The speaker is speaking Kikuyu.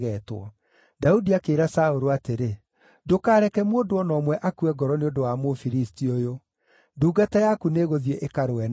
Daudi akĩĩra Saũlũ atĩrĩ, “Ndũkareke mũndũ o na ũmwe akue ngoro nĩ ũndũ wa Mũfilisti ũyũ; ndungata yaku nĩĩgũthiĩ ĩkarũe nake.”